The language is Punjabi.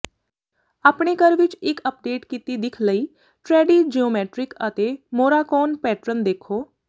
ਆਪਣੇ ਘਰ ਵਿੱਚ ਇੱਕ ਅਪਡੇਟ ਕੀਤੀ ਦਿੱਖ ਲਈ ਟਰੈਡੀ ਜਿਓਮੈਟਰਿਕ ਅਤੇ ਮੋਰਾਕੋਨ ਪੈਟਰਨ ਦੇਖੋ